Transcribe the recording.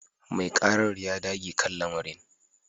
Mai karar ya dage kan lamarin